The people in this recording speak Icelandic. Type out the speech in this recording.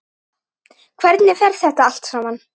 Hvernig fer þetta allt saman?